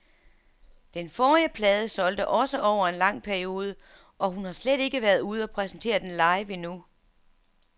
Den forrige plade solgte også over en lang periode, og hun har slet ikke været ude og præsentere den live endnu.